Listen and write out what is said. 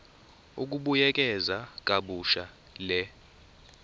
ukubuyekeza kabusha le